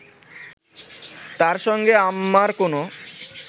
তার সঙ্গে আমার কোনো